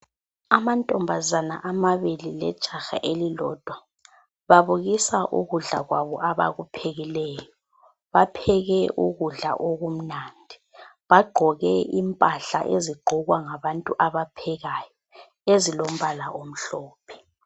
Amantombazana amabili lejaha elilodwa babukisa ukudla kwabo abakuphekileyo. Bapheke ukudla okumnandi, bagqoke impahla ezigqokwa ngabantu abaphekayo ezilombala omhlophe.